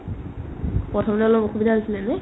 প্ৰথমতে অলপ অসুবিধা হৈছিলে ন ?